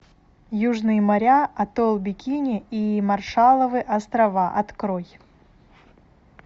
южные моря атолл бикини и маршалловы острова открой